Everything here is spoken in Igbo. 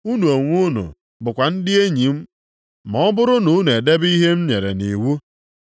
Unu onwe unu bụkwa ndị enyi m ma ọ bụrụ na unu edebe ihe m nyere nʼiwu.